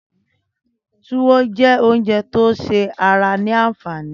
Túwó jè óoùnjè tó ṣé àrá ni ànfání